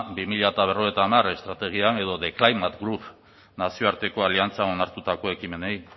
bi mila berrogeita hamar estrategian edo the climate group nazioarteko aliantza onartutako ekimenei